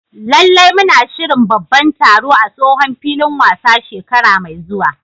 Lallai! Muna shirin babban taro a tsohon filin wasa shekara mai zuwa.